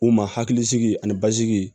U ma hakili sigi ani basigi